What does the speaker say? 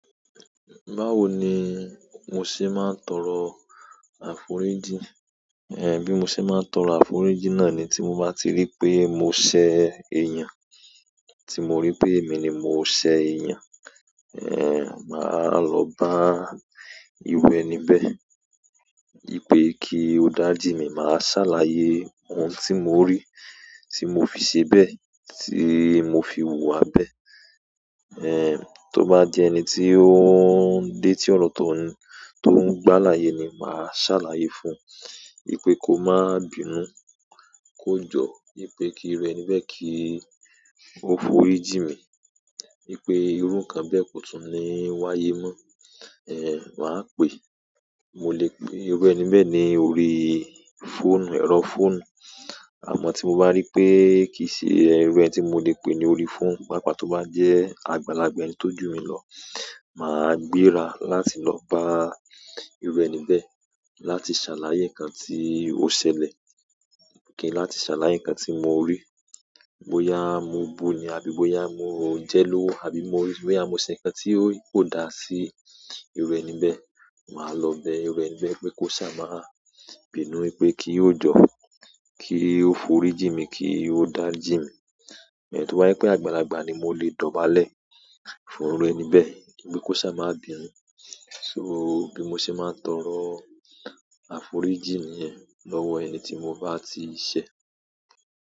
Báwo ni mo ṣe máa ń tọrọ àforíjì? Eh, bí mo ṣe máa ń tọrọ àforíjì náà ni tí mo bá ti rí pé mo ṣẹ̀ èèyàn, tí mo rí pé èmi ni mo ṣẹ̀ èèyàn, eh, màá lọ bá iru ẹni bẹ̀. Wipé kí ó dariji mí, màá ṣàlàyé ohun tí mo ri, tí mo fi ṣe bẹ́ẹ̀, tí mo fi wùwà bẹ́ẹ̀. Eh, tó bá jẹ́ ẹni tí ó ń dé tí ọ̀rọ̀ tó ń, tó ń gbálàyè ni, màá ṣàlàyé fún un. Wipé kó má bínú, kó jọ́, wipé kí iru ẹni bẹ́ẹ̀ kí ó forí jìn mí. Wi pé irú ǹkan bẹ́ẹ̀ kò tún ní wáyé mọ. Eh, ma pè. Mo lè pè iru ẹni bẹ́ẹ̀ ní orí fóònù, ẹ̀rọ fóònù. Àmọ́ tí mo bá rí pé kì í ṣe irú ẹni tí mo lè pè ní orí fóònù, papa tó bá jẹ́ àgbàlagbà ẹni tó jù mí lọ, màá gbéra láti lọ bá iru ẹni bẹ́ẹ̀ láti ṣàlàyé ǹkan tí ó ṣẹlẹ̀, kí n láti ṣàlàyé ǹkan tí mo rí. Boya mo buní, àbí bó ya mo jẹ lówó àbí mo rí, bó ya mo ṣẹ̀ ǹkan tí ko dá sí iru ẹni bẹ́ẹ̀, màá lọ bẹ iru ẹni bẹ́ẹ̀ pé kó ṣá má bínú, wipé kí ó jọ́, kí ó forí jìn mí, kí ó dariji mí. To ba jẹ pe àgbàlagbà ni mo le dọ̀bálẹ̀ fún iru ẹni bẹ pe ko sa ma bínú so bí mo ṣe máa tọrọ àforíjì ni yẹn lọwọ ẹni tí mo bá ti ṣẹ̀.